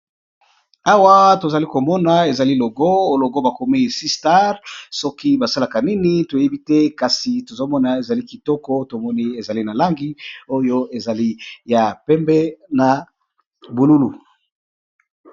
Awa to zali ko mona ezali logo, logo ba komi Sea star, soki ba salaka nini to yebi te kasi tozo mona ezali kitoko to moni ezali na langi oyo ezali ya pembe na bululu .